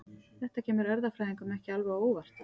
Þetta kemur erfðafræðingum ekki alveg á óvart.